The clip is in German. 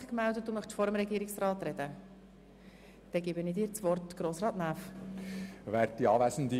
Der Motionär hat somit nochmals das Wort vor dem Regierungsrat.